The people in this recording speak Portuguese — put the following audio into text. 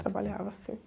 Trabalhava, sim.